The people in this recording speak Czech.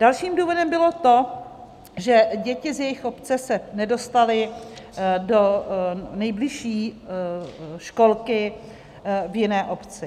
Dalším důvodem bylo to, že děti z jejich obce se nedostaly do nejbližší školky v jiné obci.